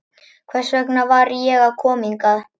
Hvers vegna var ég að koma hingað?